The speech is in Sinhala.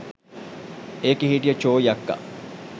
එකේ හිටිය චෝයි අක්කා